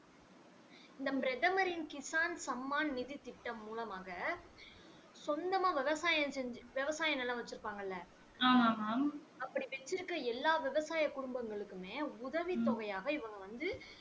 நம் பிரதமரின் கிஷான் சம்மான் நிதி திட்டம் மூலமாக சொந்தமா விவசாயம் செஞ்சி விவசாயம் நிலம் வச்சிருப்பாங்கல இல்ல அப்படி வச்சி இருக்க எல்லா விவசாய குடும்பங்களுக்குமே உதவி தொகையாக இவங்க வந்து